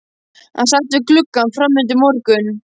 Hann sat við gluggann fram undir morgun.